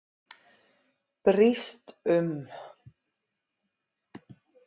Brýst um.